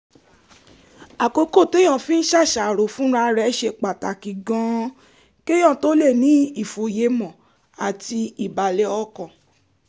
àkókò téèyàn fi ń ṣàṣàrò fúnra rẹ̀ ṣe pàtàkì gan-an kéèyàn tó lè ní ìfòyemọ̀ àti ìbàlẹ̀ ọkàn